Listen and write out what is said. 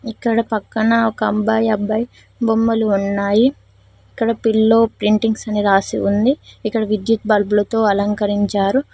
ఇక్కడ పక్కన ఒక అంబాయ్ అబ్బాయి బొమ్మలు ఉన్నాయి ఇక్కడ పిల్లో ప్రింటింగ్స్ అని రాసి ఉంది ఇక్కడ విద్యుత్ బల్బులతో అలంకరించారు.